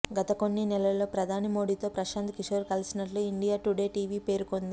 గత కొన్ని నెలలో ప్రధాని మోడీతో ప్రశాంత్ కిషోర్ కలిసినట్లు ఇండియా టుడే టీవీ పేర్కొంది